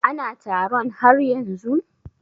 Ana taron har yanzun?